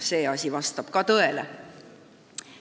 See asi vastab ka tõele.